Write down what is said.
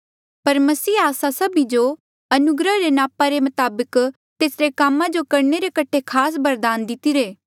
पर मसीहे आस्सा सभी जो अनुग्रह रे नापा रे मताबक तेसरे कामा जो करणे रे कठे खास बरदान दितिरे